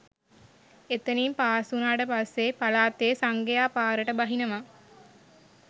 එතනින් පාස් වුණාට පස්සේ පළාතෙ සංඝයා පාරට බහිනවා